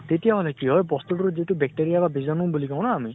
তেতিয়া হলে কি হয় বস্তুটোৰ যিটো bacteria বা বীজাণু বুলি কওঁ ন আমি